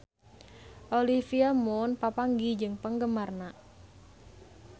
Olivia Munn papanggih jeung penggemarna